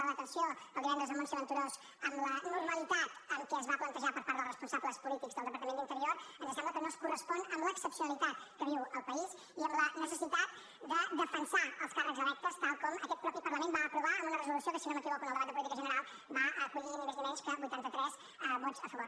la detenció del divendres de montse venturós amb la normalitat amb què es va plantejar per part dels responsables polítics del departament d’interior ens sembla que no es correspon amb l’excepcionalitat que viu el país i amb la necessitat de defensar els càrrecs electes tal com aquest mateix parlament va aprovar amb una resolució que si no m’equivoco en el debat de política general va acollir ni més ni menys que vuitanta tres vots a favor